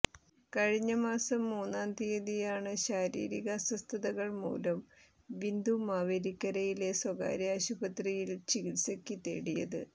കഴിഞ്ഞ മാസം മൂന്നാം തീയതിയാണ് ശാരീരിക അസ്വസ്ഥതകൾ മൂലം ബിന്ദു മാവേലിക്കരയിലെ സ്വകാര്യ ആശുപത്രിയിൽ ചികിത്സയ്ക്ക് തേടിയത്